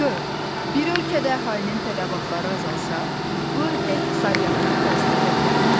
Dörd: Bir ölkədə əhalinin tələbatları azalsa, bu ölkə iqtisadiyyatına təsir edə bilərmi?